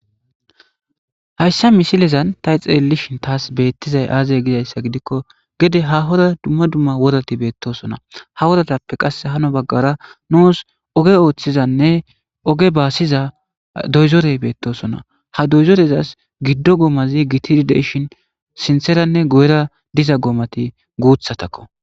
hayssa misilezan ta xeellishin taas beettizay aazey gizayssa gidikko gede ha hora dumma dumma worati beettosona ha woratappe qass hano baggara nuus oge ooththizanne oge baasiza doyzorey beettosona ha doyzorezas giddo goomazi gitiddeshin sintseranne goera diza goomati guuthatakko